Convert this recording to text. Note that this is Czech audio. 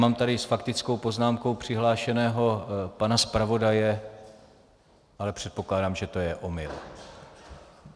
Mám tady s faktickou poznámkou přihlášeného pana zpravodaje, ale předpokládám, že to je omyl.